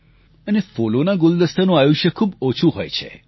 અને ફૂલોના ગુલદસ્તાનું આયુષ્ય ખૂબ ઓછું હોય છે